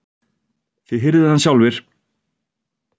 Þið hirðið hann sjálfir!